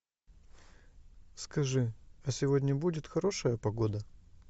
скажи а сегодня будет хорошая погода